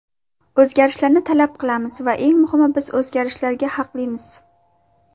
O‘zgarishlarni talab qilamiz va eng muhimi, biz o‘zgarishlarga haqlimiz.